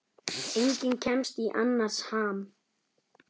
Enginn kemst í annars ham.